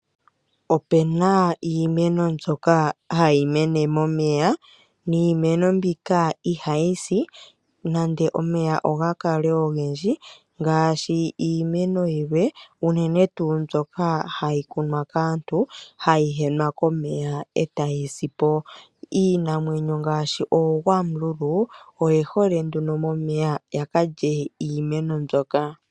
Opuna iimeno mbyoka hayi mene momeya, niimeno mbika ohayi si nande omeya Oga kale ogendji ngaashi ngaashi iimeno yilwe, unene ngaa mbyoka hayi kunwa kaantu, hayi henwa komeya e tayi si po. Iinamwenyo ngaashi oogwamululu oye hole nduno momeya yakalye iimeno mbyoka.